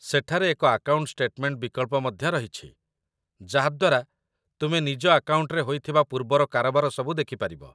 ସେଠାରେ ଏକ account statement ବିକଳ୍ପ ମଧ୍ୟ ରହିଛି, ଯାହା ଦ୍ୱାରା ତୁମେ ନିଜ ଆକାଉଣ୍ଟରେ ହୋଇଥିବା ପୂର୍ବର କାରବାର ସବୁ ଦେଖିପାରିବ